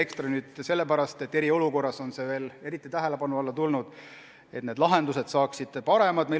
"Ekstra" sellepärast, et eriolukorras on veel eriti tähelepanu alla tulnud vajadus, et need lahendused saaksid paremad.